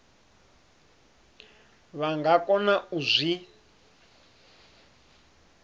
vha nga kona u zwi